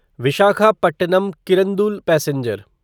Visakhapatnam Kirandul passenger